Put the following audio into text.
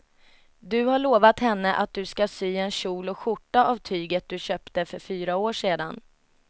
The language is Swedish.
Du har lovat henne att du ska sy en kjol och skjorta av tyget du köpte för fyra år sedan.